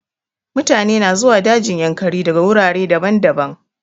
Mutane na zuwa dajin yankari daga wurare daban-daban.